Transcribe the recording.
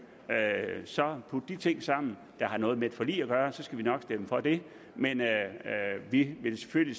put de ting sammen der har noget med et forlig at gøre så skal vi nok stemme for det men vi vil selvfølgelig